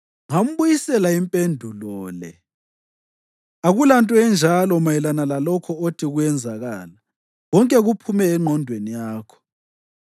Ngambuyisela impendulo le: “Akulanto enjalo mayelana lalokho othi kuyenzakala; konke kuphume engqondweni yakho.”